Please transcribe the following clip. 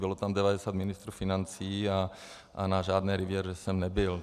Bylo tam 90 ministrů financí a na žádné riviéře jsem nebyl.